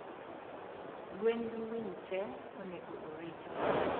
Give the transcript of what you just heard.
gwen gi winy te onego oriti.